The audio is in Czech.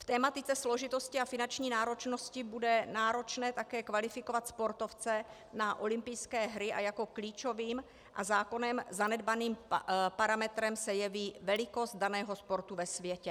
V tematice složitosti a finanční náročnosti bude náročné také kvalifikovat sportovce na olympijské hry a jako klíčovým a zákonem zanedbaným parametrem se jeví velikost daného sportu ve světě.